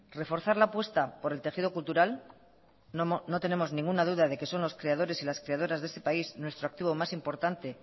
reforzar la apuesta por el tejido cultural no tenemos ninguna duda de que son los creadores y las creadoras de ese país nuestro activo más importante